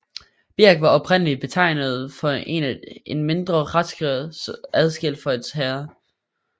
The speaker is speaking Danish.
Birk var oprindeligt betegnelsen for en mindre retskreds adskilt fra et herred